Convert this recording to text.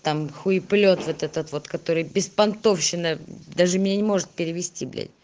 там хуеплет вот этот вот который беспонтовщина даже меня не может перевести блядь